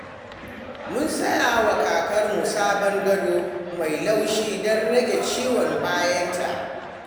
Mun saya wa kakarmu sabon gado mai laushi don rage ciwon bayanta.